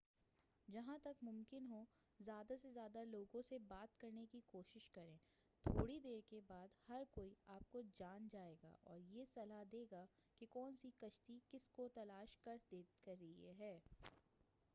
جہاں تک ممکن ہو زیادہ سے زیادہ لوگوں سے بات کرنے کی کوشش کریں تھوڑی دیر کے بعد ہر کوئی آپ کو جان جائے گا اور یہ صلاح دے گا کہ کون سی کشتی کس کو تلاش کر رہی ہے